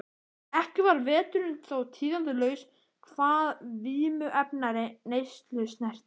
Ekki varð veturinn þó tíðindalaus hvað vímuefnaneyslu snerti.